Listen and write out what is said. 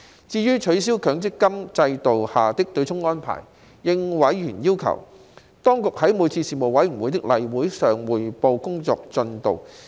至於取消強制性公積金制度下的對沖安排，應委員要求，當局在每次事務委員會的例會上匯報工作進度。